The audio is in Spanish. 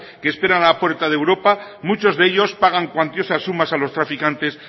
que esperan en la puerta de europa muchos de ellos pagan cuantiosas sumas a los traficantes